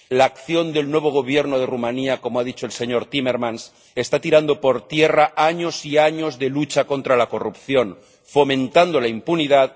La acción del nuevo Gobierno de Rumanía —como ha dicho el señor Timmermans— está tirando por tierra años y años de lucha contra la corrupción, fomentando la impunidad.